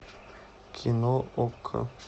кино окко